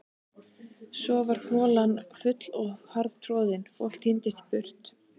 Svo varð holan full og harðtroðin, fólk tíndist burt.